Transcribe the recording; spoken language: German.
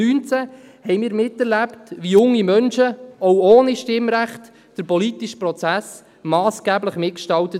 2019 erlebten wir mit, wie junge Menschen, auch ohne Stimmrecht, den politischen Prozess massgeblich mitgestalteten.